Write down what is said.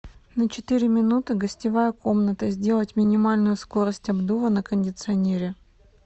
на четыре минуты гостевая комната сделать минимальную скорость обдува на кондиционере